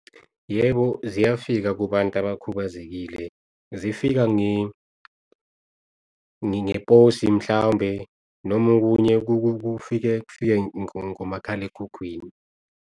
Yebo, ziyafika kubantu abakhubazekile, zifika ngeposi mhlawumbe noma okunye kufika kufike ngomakhalekhukhwini.